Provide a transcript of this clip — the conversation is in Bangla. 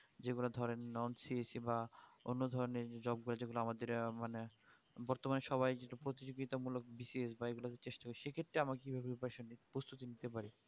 যেগুলা ধরেন nonCHC বা অন্য ধরণের job গুলো যেগুলো আমাদের আহ মানে বর্তমানে সবাই যেত প্রতিযোগিতা মূলক বিশেষ বা এগুতে চেষ্টা বেশি সে ক্ষেত্রে আমার কি ভাবে প্রস্তুতি নিতে পারি